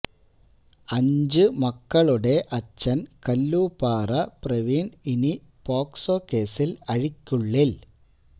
അഞ്ചു മക്കളുടെ അച്ഛൻ കല്ലൂപ്പാറ പ്രവീൺ ഇനി പോക്സോ കേസിൽ അഴിക്കുള്ളിൽ